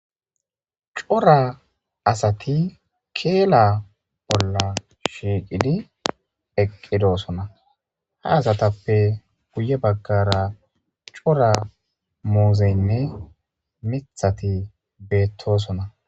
Cora asati keela bolla shiiqidi eqqidoosona ha asatappe guye baggara cora muuzeynne mithati beettosona.